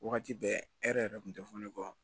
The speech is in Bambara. Wagati bɛɛ e yɛrɛ yɛrɛ kun tɛ fɔ ne kɔ